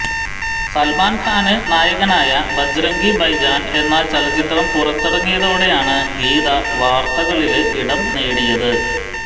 സല്മാന്ഖാന് നായകനായ ഭജ്റംഗി ഭായ്ജാന് എന്ന ചലച്ചിത്രം പുറത്തിറങ്ങിയതോടെയാണ് ഗീത വാര്ത്തകളില് ഇടംനേടിയത്